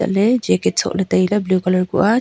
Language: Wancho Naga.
chatley jacket sohley tailey blue colour kuh a.